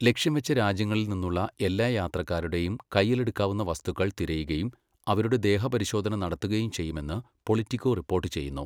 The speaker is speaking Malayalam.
ലക്ഷ്യം വച്ച രാജ്യങ്ങളിൽ നിന്നുള്ള എല്ലാ യാത്രക്കാരുടെയും കയ്യിലെടുക്കാവുന്ന വസ്തുക്കള് തിരയുകയും അവരുടെ ദേഹപരിശോധന നടത്തുകയും ചെയ്യുമെന്ന് പൊളിറ്റിക്കോ റിപ്പോർട്ട് ചെയ്യുന്നു.